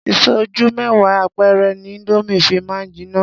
Ìsẹ́jú mẹ́wàá péré ni indomie fi máa ń jiná.